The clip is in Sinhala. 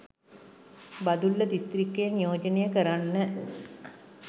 බදුල්ල දිස්ත්‍රික්කය නියෝජනය කරන්න